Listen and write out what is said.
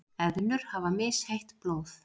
Eðlur hafa misheitt blóð.